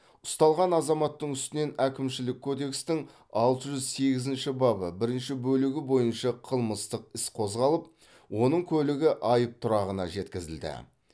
ұсталған азаматтың үстінен әкімшілік кодекстің алты жүз сегізінші бабы бірінші бөлігі бойынша қылмытсық іс қозғалып оның көлігі айып тұрағына жеткізілді